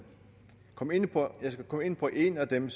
komme ind på en på en af dem